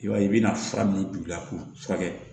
I b'a ye i bɛna fura min gilan k'o furakɛ